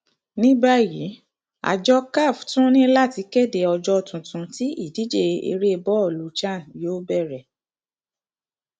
ní báyìí àjọ caf tún ní láti kéde ọjọ tuntun tí ìdíje eré bọọlù chan yóò bẹrẹ